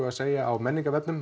að segja á